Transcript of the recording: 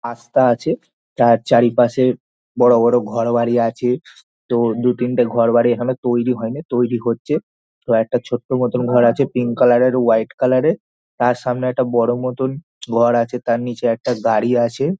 আস্থা আছে । চার চারিপাশে বড়ো বড়ো ঘরবাড়ি আছে তো দু তিনটে ঘরবাড়ি এখনো তৈরী হয়নি তৈরী হচ্ছ। তো একটা ছোট্ট মতো ঘর আছে পিঙ্ক কালার -এর হোয়াইট কালার -এর। তার সামনে একটা বড়ো মতো ঘর আছে। তার নিচে একটা গাড়ি আছে।